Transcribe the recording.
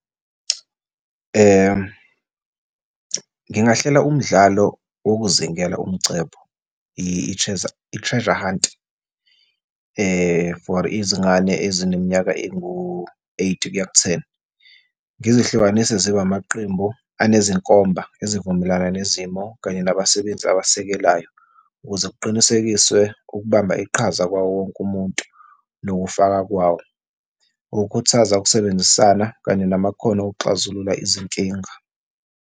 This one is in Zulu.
Ngingahlela umdlalo wokuzingela umcebo, i-treasure hunt, for izingane ezineminyaka engu-eight kuya ku-ten. Ngizihlukanise zibe amaqembu anezinkomba ezivumelana nezimo kanye nabasebenzi abasekelayo, ukuze kuqinisekiswe ukubamba iqhaza kwawo wonke umuntu nokufaka kwawo, ngokukhuthaza ukusebenzisana kanye namakhono okuxazulula izinkinga.